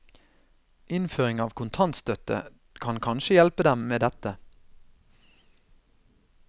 Innføring av kontantstøtte kan kanskje hjelpe dem med dette.